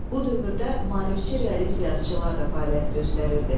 Bu dövrdə maarifçi realist yazıçılar da fəaliyyət göstərirdi.